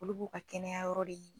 Olu b'u ka kɛnɛya yɔrɔ de ye.